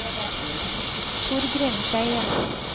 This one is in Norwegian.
Torgrim Skeie